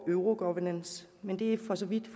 euro governance men det er for så vidt